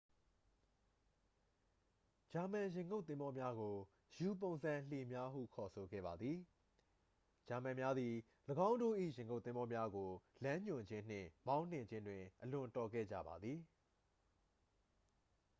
ဂျာမန်ရေငုပ်သင်္ဘောများကို ယူ-ပုံစံလှေများဟု ခေါ်ဆိုခဲ့ပါသည် ဂျာမန်များသည် ၎င်းတို့၏ရေငုပ်သင်္ဘောများကို လမ်းညွှန်ခြင်းနှင့် မောင်းနှင်ခြင်းတွင် အလွန်တော်ခဲ့ကြပါသည်